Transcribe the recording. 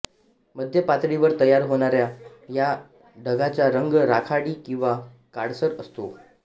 मध्य पातळीवर तयार होणाऱ्या ह्या ढगाचा रंग राखाडी किंवा काळसर असतो